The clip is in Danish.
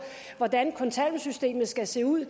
hvordan kontanthjælpssystemet skal se ud